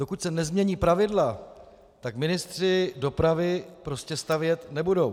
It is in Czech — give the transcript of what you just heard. Dokud se nezmění pravidla, tak ministři dopravy prostě stavět nebudou.